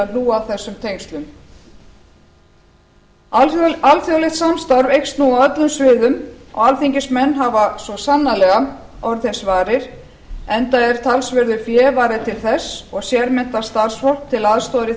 hlúa að þessum tengslum alþjóðlegt samstarf eykst nú á öllum sviðum alþingismenn hafa svo sannarlega orðið þess varir enda er talsverðu fé varið til þess og sérmenntað starfsfólk til aðstoðar í